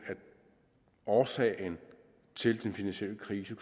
årsagen til den finansielle krise